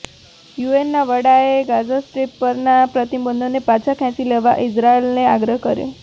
યુએનના વડાએ Gaza strip પરના પ્રતિબંધોને પાછા ખેંચી લેવા ઇઝરાયેલને આગ્રહ કર્યો